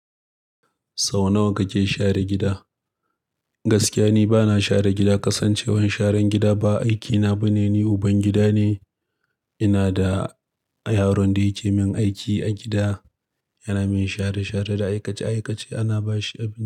Sau nawa kake share gida? Gaskiya ni bana share gida, ƙasancewar sharan gida ba aikina ba ne. Ni uban gida ne, ina da yaron da yake min aiki a gida. Yana min share-share da aikace-aikace, ana ba shi abinci.